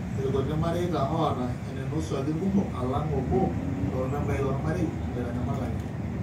Irkuti mareita ootaa einosuaki irkumok aalang' obo loormembai lormarei oitanyamalaki.